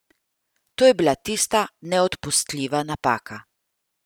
To je bila tista neodpustljiva napaka.